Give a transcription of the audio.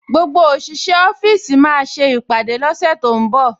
Gbogbo òṣìṣẹ́ ọ́fíìsì máa ṣe ìpàdé lọ́sẹ̀ tó ń bọ̀